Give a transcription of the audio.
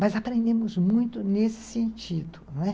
Mas aprendemos muito nesse sentido, não é?